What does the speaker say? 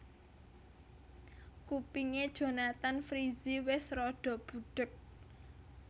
Kupinge Jonathan Frizzy wes rada budheg